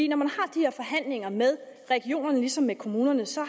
når man har de her forhandlinger med regionerne ligesom med kommunerne så